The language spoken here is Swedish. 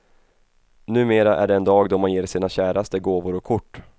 Numera är det en dag då man ger sina käraste gåvor och kort.